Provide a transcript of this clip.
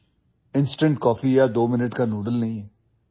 It is not instant coffee or twominute noodles